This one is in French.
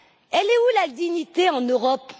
Elle est où la dignité en Europe?